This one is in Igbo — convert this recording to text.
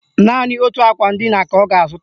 Naanị otu akwa ndina ka ọ ga-azụta